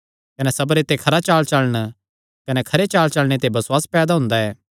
कने सबरे ते खरा चालचलण कने खरे चालचलणे ते बसुआस पैदा हुंदा ऐ